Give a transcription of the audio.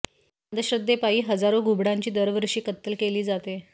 या अंधश्रद्धेपायी हजारो घुबडांची दरवर्षी कत्तल केली जाते